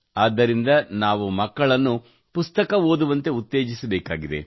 ಆದ್ದರಿಂದ ನಾವು ಮಕ್ಕಳನ್ನು ಪುಸ್ತಕ ಓದುವಂತೆ ಉತ್ತೇಜಿಸಬೇಕಾಗಿದೆ